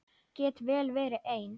Get vel verið ein.